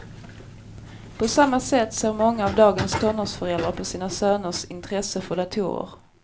På samma sätt ser många av dagens tonårsföräldrar på sina söners intresse för datorer.